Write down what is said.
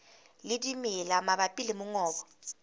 le dimela mabapi le mongobo